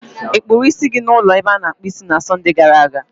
Ị kpụrụ isi gị n'ụlọ ebe a na-akpụ isi na Sọnde gara aga?